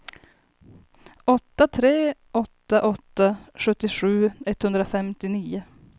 åtta tre åtta åtta sjuttiosju etthundrafemtionio